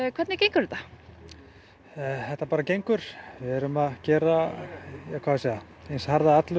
hvernig gengur þetta þetta gengur við erum að gera harða atlögu